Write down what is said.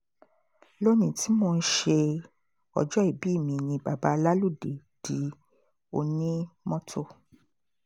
lónìí tí mò ń ṣe ọjọ́ ìbí mi ni bàbá láludé di onímọ́tò